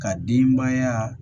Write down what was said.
Ka denbaya